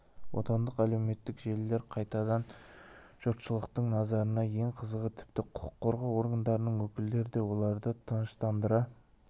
отандық әлеуметтік желілер қайтадан жұртшылықтың назарында ең қызығы тіпті құқық қорғау органдарының өкілдері де оларды тыныштандыра